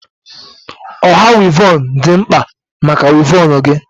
Ọha wivon dị mkpa maka wivon gị